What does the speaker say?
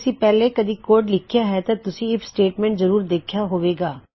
ਅਗਰ ਤੁਸੀਂ ਪਹਿਲੇ ਕਦੀ ਕੋਡ ਲਿਖਿਆ ਹੈ ਤਾਂ ਤੁਸੀਂ ਆਈਐਫ ਸਟੇਟਮੈਂਟ ਜ਼ਰੂਰ ਦੇਖਿਆ ਹੋਵੇਗਾ